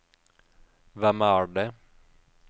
hvem er det